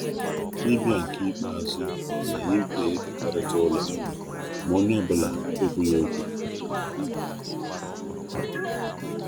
Ọbịbịa nke nkeji nkpetemazu ya pụtara na anyị ga-ekekọrịta ọnụ ụlọ, mana ọ nweghị onye mere mkpesa.